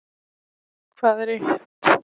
Hvað er upp?